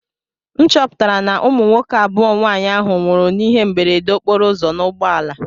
M chọpụtara na ụmụ nwoke abụọ nwaanyị ahụ nwụrụ n'ihe mberede okporoụzọ n'ụgbọala.